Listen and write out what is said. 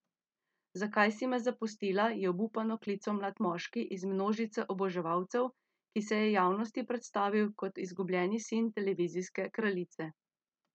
Zakaj si me zapustila, je obupano klical mlad moški iz množice oboževalcev, ki se je javnosti predstavil kot izgubljeni sin televizijske kraljice.